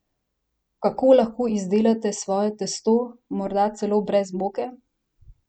Kako lahko izdelate svoje testo, morda celo brez moke?